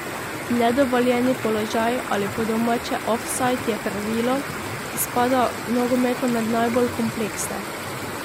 Nedovoljeni položaj ali po domače ofsajd je pravilo, ki spada v nogometu med najbolj kompleksne.